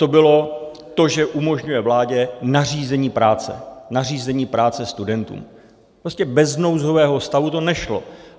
To bylo to, že umožňuje vládě nařízení práce, nařízení práce studentům, prostě bez nouzového stavu to nešlo.